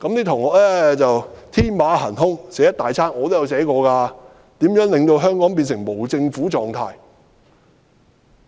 同學天馬行空，寫了很多東西，我也寫過如何令香港變成無政府狀態。